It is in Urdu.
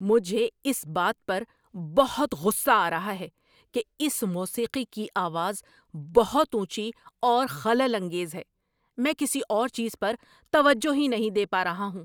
مجھے اس بات پر بہت غصہ آ رہا ہے کہ اس موسیقی کی آواز بہت اونچی اور خلل انگیز ہے۔ میں کسی اور چیز پر توجہ ہی نہیں دے پا رہا ہوں۔